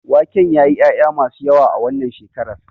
Waken yayi ƴaƴa masu yawa a wannan shekarar.